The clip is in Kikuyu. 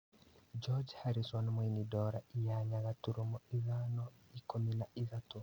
George Harrison mũini Dora inyanya gaturumo ithano, ikũmi na ithatũ